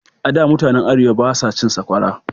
A da, mutanen Arewa ba sa cin saƙwara.